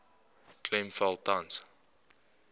klem val tans